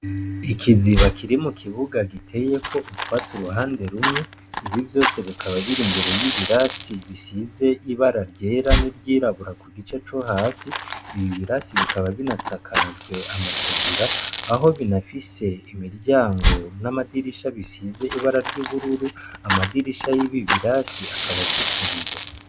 Ikiziba kiri mu kibuga giteyeko utwatsi uruhande rumwe, ibi vyose bikaba biri imbere y'ibirasi bisize ibara ryera n'iryirabura ku gice co hasi. Ibi birasi bikaba binasakajwe amategura aho binafise imiryango n'amadirisha bisize ibara ry'ubururu, amadirisha y'ibi birasi akaba afise ibiyo.